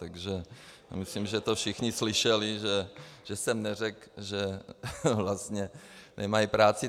Takže myslím, že to všichni slyšeli, že jsem neřekl, že vlastně nemají práci.